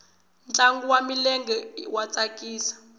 ntlangu wa milenge wa tsakisa